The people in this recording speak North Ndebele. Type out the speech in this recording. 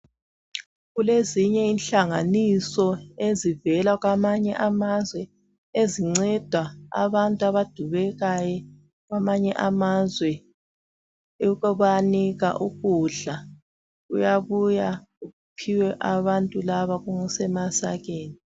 Kulezinye inhlanganiso ezivela kwamanye amazwe ezinceda abantu abadubekayo kwamanye amazwe ukubanika ukudla. Kuyabuya kuphiwe abantu laba kusemasakeni.